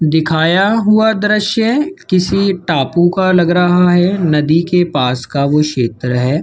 दिखाया हुआ दृश्य किसी टापू का लग रहा है नदी के पास का वो क्षेत्र है।